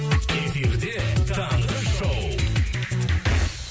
эфирде таңғы шоу